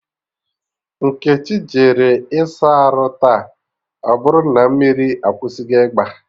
Nkechi jere ịsa arụ taa, ọbụrụ na mmiri akwụsịgo igba